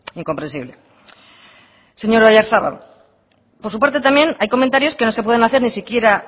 incomprensible señor oyarzabal por su parte también hay comentarios que no se pueden hacer ni siquiera